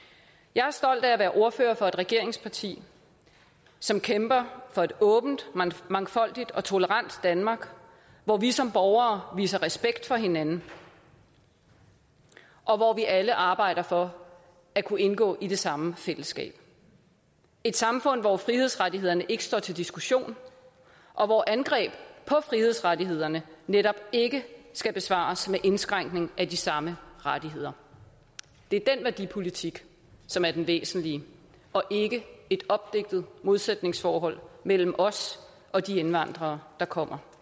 jeg er stolt af at være ordfører for et regeringsparti som kæmper for et åbent mangfoldigt og tolerant danmark hvor vi som borgere viser respekt for hinanden og hvor vi alle arbejder for at kunne indgå i det samme fællesskab et samfund hvor frihedsrettighederne ikke står til diskussion og hvor angreb på frihedsrettighederne netop ikke skal besvares med indskrænkning af de samme rettigheder det er den værdipolitik som er den væsentlige og ikke et opdigtet modsætningsforhold mellem os og de indvandrere der kommer